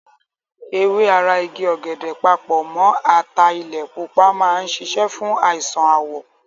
Ewé ara igi ọ̀gẹ̀dẹ̀ papọ̀ mọ́ ataalẹ̀ pupa máa ń ṣiṣẹ́ fún àìsàn àwọ̀.